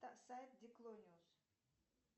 сайт диклониус